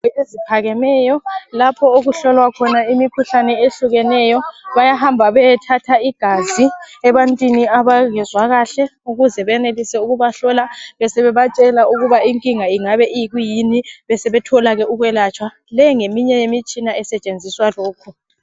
eziphakemeyo lapho okuholwa khona imikhuhlane ehlukeneyo bayahamba beyethatha igazi ebantwini abayabe bengezwa kahle ukuze benelise ukubahlola besebebatshela inking ingabe iyikuyini sebethola ke ukwelatshwa le ngeminye yemitshina esetshenziswa lokhu